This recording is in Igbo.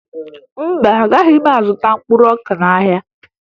Mba, agaghị m azụta mkpụrụ ọka n'ahịa